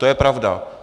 To je pravda.